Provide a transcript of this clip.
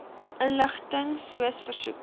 inligting soos versoek